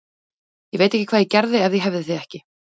Ég veit ekki hvað ég gerði ef ég hefði þig ekki.